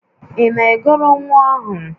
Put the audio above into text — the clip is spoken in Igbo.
Ị na-egoro nwa ahụ?